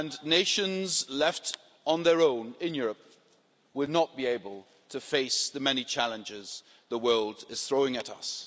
Nations left on their own in Europe will not be able to face the many challenges the world is throwing at us.